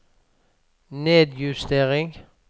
nedjustering